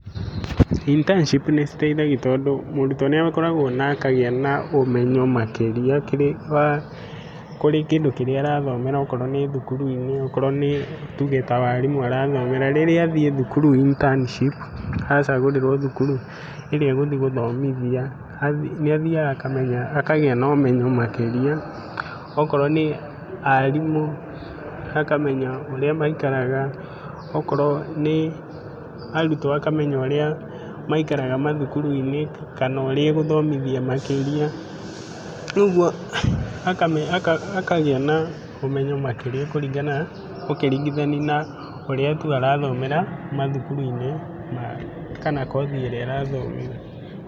internship nĩ citeithagia tondũ mũrutwo nĩ akoragwo na akagĩa na ũmenyo makĩria, kũrĩ kĩndũ kĩrĩa arathomera akorwo nĩ thukuru-inĩ na akorwo rĩngĩ nĩ tuge nĩ warimũ arathomera rĩngĩ thukuru internship, acagũrĩrwo thukuru ĩrĩa egũthiĩ gũthomithia, nĩ athiaga akagĩa na ũmenyo makĩria, okorwo nĩ arimũ akamenya ũrĩa maikaraga, okorwo nĩ arutwo akamenya ũrĩa maikaraga mathukuru-inĩ kana ũrĩa agĩthomithia makĩria rĩu ũguo akagĩa ũmenyo makĩria kũringa na, ũkĩringithania na mũrutwo arathomĩthĩra mathukuru-inĩ kana kothi ĩrĩa arathomera.